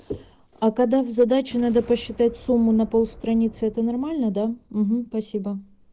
а когда в задаче надо посчитать сумму на полстраницы это нормально да ага спасибо